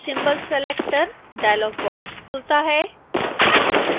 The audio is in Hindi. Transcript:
symbol selector डायलॉग बॉक्स खुलता है